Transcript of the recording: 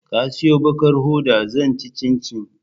Ka siyon ɓakar hoda zan ci cincin